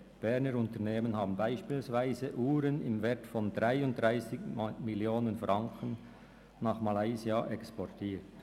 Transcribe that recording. Berner Unternehmungen haben beispielsweise Uhren im Wert von 33 Millionen Franken nach Malaysia exportiert.